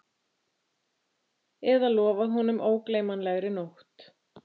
Eða lofað honum ógleymanlegri nótt